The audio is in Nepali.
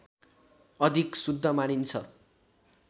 अधिक शुद्ध मानिन्छ